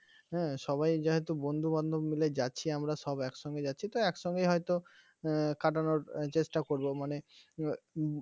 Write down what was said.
হ্যাঁ সবাই যেহেতু বন্ধুবান্ধব মিলে যাচ্ছি আমরা সব একসঙ্গে যাচ্ছি তো একসঙ্গে হয়তো কাটানোর চেষ্টা করবো মানে উম